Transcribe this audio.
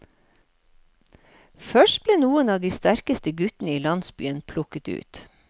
Først ble noen av de sterkeste gutten i landsbyen plukket ut.